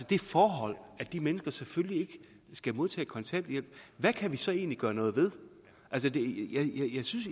det forhold at de mennesker selvfølgelig ikke skal modtage kontanthjælp hvad kan vi så egentlig gøre noget ved